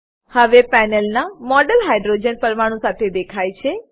હવે પેનલના model hydrogen પરમાણુ સાથે દેખાય છે